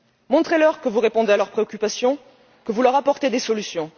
Montrez leur que vous répondez à leurs préoccupations, que vous leur apportez des solutions.